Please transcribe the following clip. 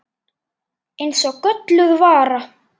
Eins og gölluð vara.